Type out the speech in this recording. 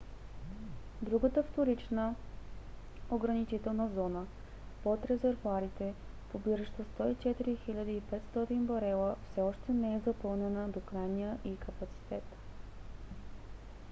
другата вторична ограничителна зона под резервоарите побиращи 104 500 барела все още не е запълнена до крайния ѝ капацитет